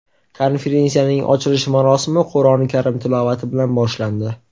Konferensiyaning ochilish marosimi Qur’oni karim tilovati bilan boshlandi.